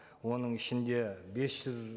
оның ішінде бес жүз